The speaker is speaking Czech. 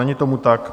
Není tomu tak.